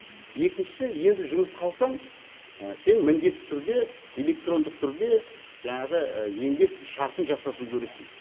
екіншісі енді жұмысқа алсаң сен міндетті түрде электрондық түрде жаңағы еңбек шартын жасасу керексің